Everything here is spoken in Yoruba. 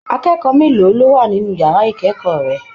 Akẹ́kọ̀ọ́ mélòó ló wà nínú yàrá ikẹkọọ rẹ?